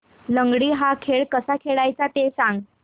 लंगडी हा खेळ कसा खेळाचा ते सांग